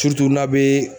n'a bɛ